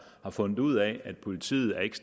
har fundet ud af at politiet ikke